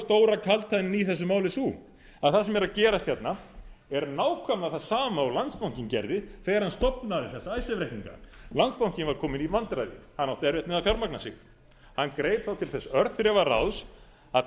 stóra kaldhæðnin í þessu máli sú að það sem er að gerast hérna er nákvæmlega það sama og landsbankinn gerði þegar hann stofnaði þessa icesave reikninga landsbankinn var kominn í vandræði hann átti erfitt með að fjármagna sig hann greip þá til þess örþrifaráðs að